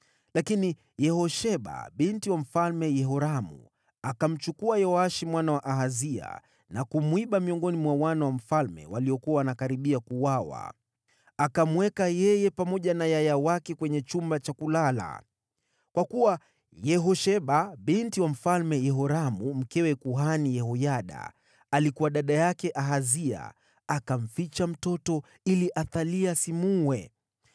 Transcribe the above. Lakini Yehosheba, binti wa Mfalme Yehoramu, akamtwaa Yoashi mwana wa Ahazia kwa siri kutoka miongoni mwa wana wa mfalme waliokuwa karibu kuuawa. Akamweka Yoashi pamoja na yaya wake ndani ya chumba cha kulala. Kwa kuwa Yehosheba, aliyekuwa binti wa Mfalme Yehoramu, na pia alikuwa mke wa kuhani Yehoyada, alikuwa dada yake Ahazia, akamficha huyo mtoto ili Athalia asimuue.